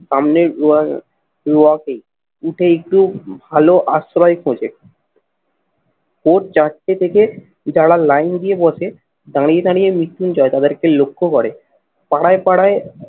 সামনে উঠে একটু ভালো আশ্রয় খোঁজে ভোর চারটে থেকে যারা লাইন দিয়ে বসে, দাঁড়িয়ে দাঁড়িয়ে মৃত্যুঞ্জয় তাদেরকে লক্ষ্য করে পাড়ায় পাড়ায়